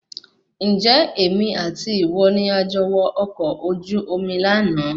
Ǹjẹ́ èmi àti ìwọ ni a jọ wọ ọkọ̀ ojú omi lànà